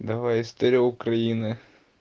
давай история украины